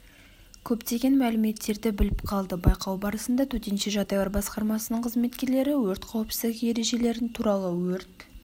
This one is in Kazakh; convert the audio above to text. көптеген мәліметтерді біліп қалды байқау барысында төтенше жағдайлар басқармасының қызметкерлері өрт қауіпсіздігі ережелерін туралы өрт